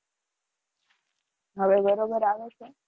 હવે બરાબર આવે છે?